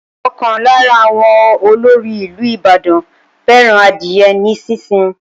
Ókan lára àwọn ọlóòrì ìlú Ìbàdàn fẹràn adiye ní sísìn.